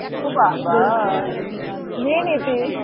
ও বাবা নিয়ে নিতিস